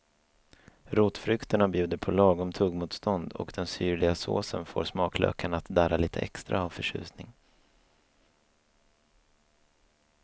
Rotfrukterna bjuder på lagom tuggmotstånd och den syrliga såsen får smaklökarna att darra lite extra av förtjusning.